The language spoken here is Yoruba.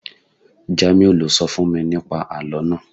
Jamiu lo sọ fún mi ní pa àlọ́ naa